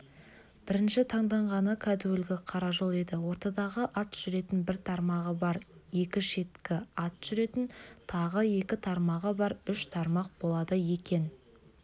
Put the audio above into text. бірінші таңданғаны кәдуілгі қара жол еді ортадағы ат жүретін бір тармағы бар екі шеткі ат жүретін тағы екі тармағы бар үш тармақ болады екен